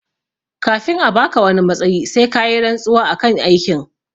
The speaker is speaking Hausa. Kafin a baka wani matsayi sai kayi rantsuwa akan aikin